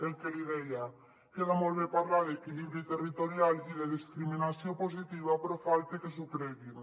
el que li deia queda molt bé parlar d’equilibri territorial i de discriminació positiva però falta que s’ho creguin